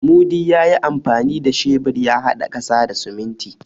Mudi ya yi amfani da shebur ya haɗa ƙasa da siminti.